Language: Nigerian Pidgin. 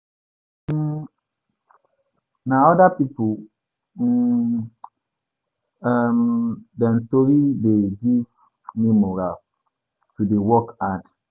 um Na other pipu um um dem tori dey give me morale to dey work hard.